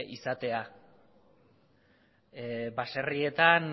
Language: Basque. izatea baserrietan